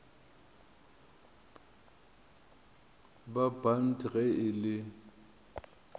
ba bant ge e le